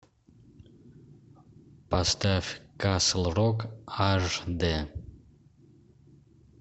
поставь касл рок аш д